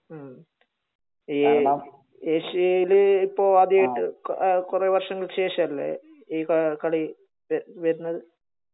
മ്മ്ഹ്. ഏഷ്യയില് ഇപ്പൊ അധികയിട്ട് കൊറേ വർഷങ്ങൾക്ക് ശേഷം അല്ലെ ഈ കളി വരുന്നത്